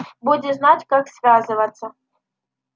будешь знать как связываться